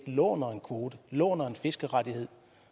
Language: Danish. låner en kvote låner en fiskerettighed